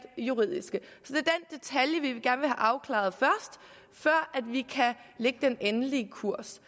juridiske i afklaret før vi kan lægge den endelige kurs